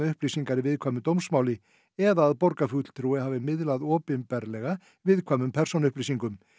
upplýsingar í viðkvæmu dómsmáli eða að borgarfulltrúi hafi miðlað opinberlega viðkvæmum persónuupplýsingum